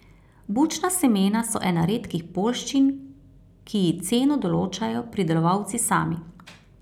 Bučna semena so ena redkih poljščin, ki ji ceno določajo pridelovalci sami.